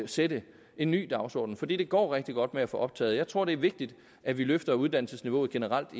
sætte en ny dagsorden for det det går rigtig godt med at få optaget og jeg tror det er vigtigt at vi løfter uddannelsesniveauet generelt